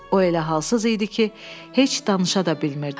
O elə halssız idi ki, heç danışa da bilmirdi.